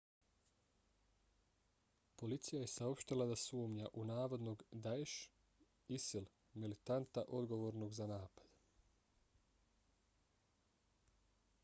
policija je saopštila da sumnja u navodnog daesh isil militanta odgovornog za napad